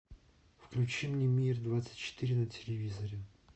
включи мне мир двадцать четыре на телевизоре